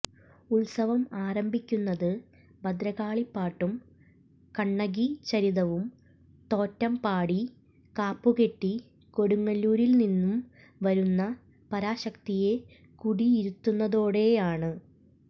ഉത്സവം ആരംഭിക്കുന്നത് ഭദ്രകാളിപ്പാട്ടും കണ്ണകീചരിതവും തോറ്റംപാടി കാപ്പുകെട്ടി കൊടുങ്ങല്ലൂരിൽ നിന്നും വരുന്ന പരാശക്തിയെ കുടിയിരുത്തുന്നതോടെയാണ്